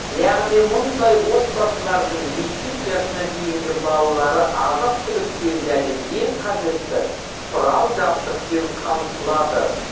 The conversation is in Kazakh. яғни мұндай отбасылардың мектеп жасына дейінгі балалары азық түлікпен және ең қажетті құрал жабдықпен қамтылады